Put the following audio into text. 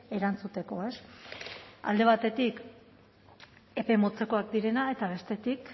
erantzuteko alde batetik epe motzekoak direnak eta bestetik